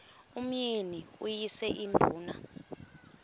umyeni uyise iduna